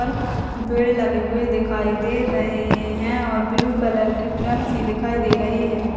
पेड़ की लगे दिखाई दे रहे है और ब्लू कलर के ड्रम्स सी दिखाई दे रहे हैं।